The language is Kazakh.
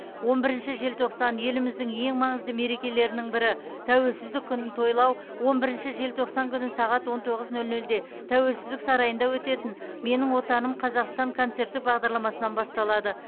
он бірінші желтоқсан еліміздің ең маңызды мерекелерінің бірі тәуелсіздік күнін тойлау он бірінші желтоқсан күні сағат он тоғыз нөл нөлде тәуелсіздік сарайында өтетін менің отаным қазақстан концерттік бағдарламасынан басталады